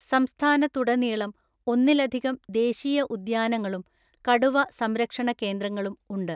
സംസ്ഥാനത്തുടനീളം ഒന്നിലധികം ദേശീയ ഉദ്യാനങ്ങളും കടുവ സംരക്ഷണ കേന്ദ്രങ്ങളും ഉണ്ട്.